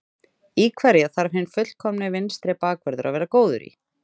Í hverju þarf hinn fullkomni vinstri bakvörður að vera góður í?